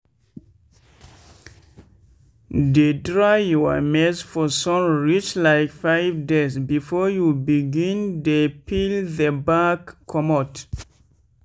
dey dry your maize for sun reach like five days before you begin dey peel the back comot.